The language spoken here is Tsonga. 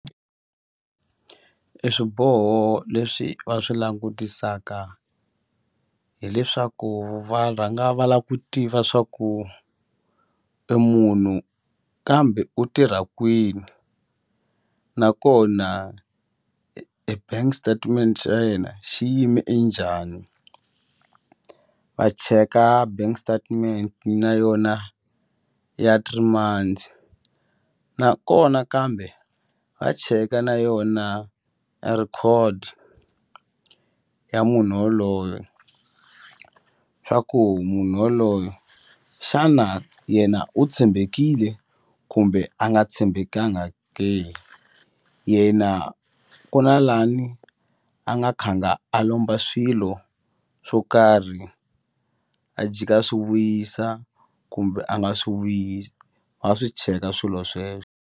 E swiboho leswi va swi langutisaka hileswaku va rhanga va la ku tiva swa ku e munhu kambe u tirha kwini nakona e bank statement xa yena xi yime e njhani va cheka bank statement na yona ya three months nakona kambe va cheka na yona a record ya munhu woloye swa ku munhu woloye xana yena u tshembekile kumbe a nga tshembekanga ke yena ku na lani a nga khanga a lomba swilo swo karhi a jika swi vuyisa kumbe a nga swi vuyisi va swi cheka swilo sweswo.